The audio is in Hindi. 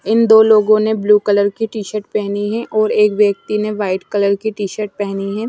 इन दो लोगों ने ब्लू कलर की टी-शर्ट पहनी है और एक व्यक्ति ने वाइट कलर की टी-शर्ट पहनी है।